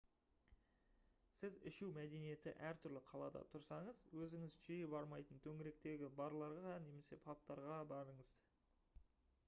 сіз ішу мәдениеті әртүрлі қалада тұрсаңыз өзіңіз жиі бармайтын төңіректегі барларға немесе пабтарға барыңыз